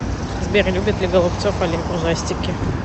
сбер любит ли голубцов олег ужастики